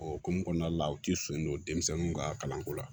O hokumu kɔnɔna la u ti sɔn don denmisɛnninw ka kalanko la